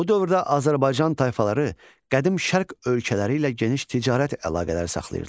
Bu dövrdə Azərbaycan tayfaları qədim Şərq ölkələri ilə geniş ticarət əlaqələri saxlayırdılar.